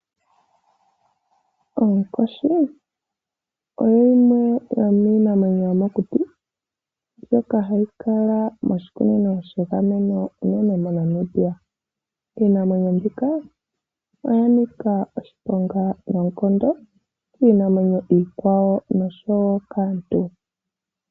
Oonkoshi oyo yimwe yomiinamwenyo yomokuti mbyoka hayi kala moshikunino shegameno unene moNamibia. Iinamwenyo mbika oya nika oshiponga noonkondo kiinamwenyo iikwawo noshowo kaantu.